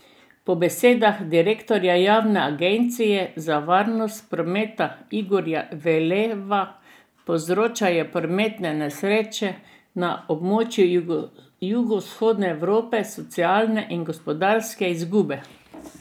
Po besedah direktorja javne agencije za varnost prometa Igorja Velova povzročajo prometne nesreče na območju Jugovzhodne Evrope socialne in gospodarske izgube.